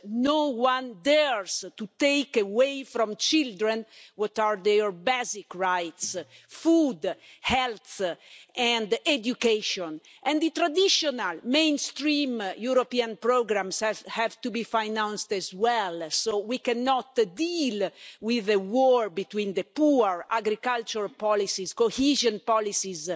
No one dares to take away from children what are their basic rights food, health and education and the traditional mainstream European programmes have to be financed as well, so we cannot deal with a war between the poor agricultural policies, cohesion policies,